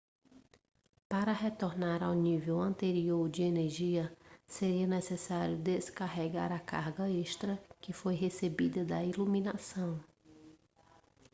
para retornar ao nível anterior de energia seria necessário descarregar a carga extra que foi recebida da iluminação